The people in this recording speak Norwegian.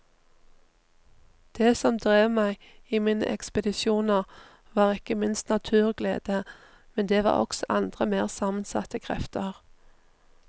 Det som drev meg i mine ekspedisjoner var ikke minst naturglede, men det var også andre mer sammensatte krefter.